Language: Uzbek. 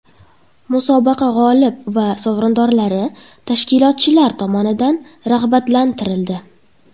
Musobaqa g‘olib va sovrindorlari tashkilotchilar tomonidan rag‘batlantirildi.